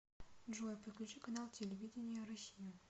джой подключи канал телевидения россию